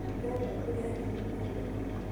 Ndĩrenda kũrĩa ngima ĩrĩ o hiũ